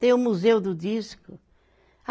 Tem o museu do disco.